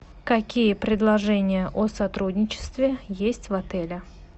какие предложения о сотрудничестве есть в отеле